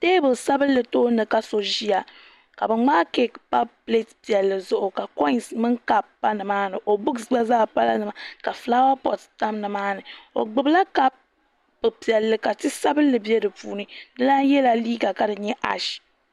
Teebuli sabinli tooni ka so ʒiya ka bi ŋmaai keek sabinli pa pileet zuɣu ka koins mini kaap gba zaa pa nimaani buuks gba zaa pala nimaa ni ka fulaawa poot tam nimaa ni o gbubila kaap piɛlli ka ti sabinli bɛ di puuni di lan yɛla liiga ka di nyɛ ash